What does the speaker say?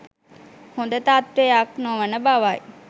හොඳ තත්ත්වයක් නොවන බවයි.